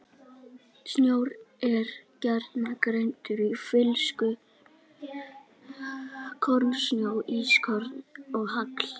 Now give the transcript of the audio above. Snjór er gjarnan greindur í flyksur, kornsnjó, ískorn og hagl.